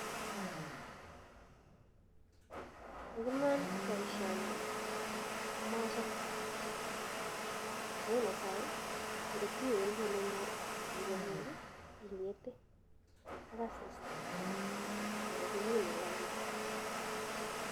Ing iman boisioni komochome amu netai kongotiwendi akiibe beek ingete ak asista ako kimine lainda